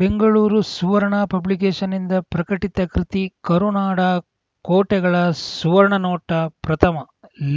ಬೆಂಗಳೂರು ಸುವರ್ಣ ಪಬ್ಲಿಕೇಷನ್‌ನಿಂದ ಪ್ರಕಟಿತ ಕೃತಿ ಕರುನಾಡ ಕೋಟೆಗಳ ಸುವರ್ಣ ನೋಟ ಪ್ರಥಮ